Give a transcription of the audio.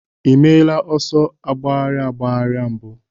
Ị meela ọsọ agbagharị agbagharị mbụ?